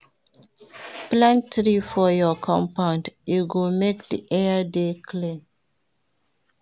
Plant tree for your compound, e go make di air dey clean.